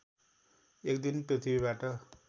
एक दिन पृथ्वीबाट